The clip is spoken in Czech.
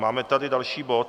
Máme tady další bod.